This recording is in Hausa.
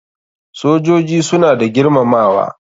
Sojoji suna da girmamawa.